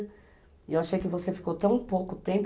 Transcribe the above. E eu achei que você ficou tão pouco tempo.